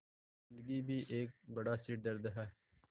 ज़िन्दगी भी एक बड़ा सिरदर्द है